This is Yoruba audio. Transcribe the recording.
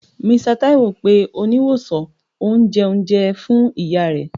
Mr Taiwo pe oniwosan onjẹunjẹ fun iya rẹ.